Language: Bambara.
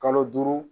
Kalo duuru